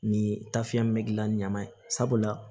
Ni tafiya min be gilan ɲaman ye sabula